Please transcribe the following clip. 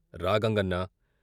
రా గంగన్నా....